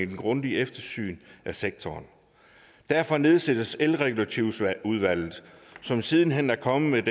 grundigt eftersyn af sektoren og derfor nedsattes elreguleringsudvalget som siden hen er kommet med